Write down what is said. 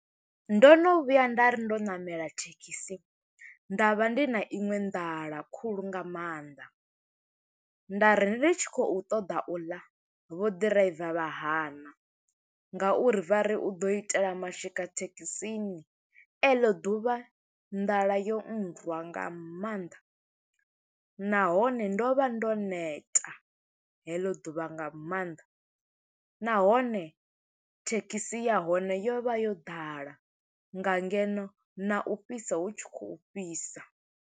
Ndo no vhuya nda ri ndo ṋamela thekhisi, nda vha ndi na iṅwe nḓala khulu nga maanḓa. Nda ri ndi tshi khou ṱoḓa u ḽa, vho ḓiraiva vha hana nga uri vha ri, u ḓo itela mashika thekhisini. E ḽo ḓuvha nḓala yo rwa nga maanḓa, nahone ndo vha ndo neta heḽo ḓuvha nga maanḓa, nahone thekhisi ya hone yo vha yo ḓala, nga ngeno na u fhisa hu tshi khou fhisa.